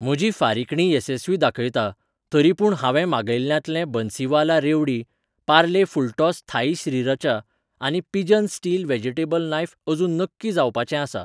म्हजी फारिकणी येसस्वी दाखयता, तरीपूण हांवें मागयिल्ल्यांतलें बन्सीवाला रेवडी, पार्ले फुलटॉस थाई श्रीरचा आनी पिजन स्टील व्हेजिटेबल नायफ अजून नक्की जावपाचें आसा.